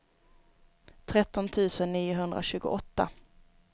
tretton tusen niohundratjugoåtta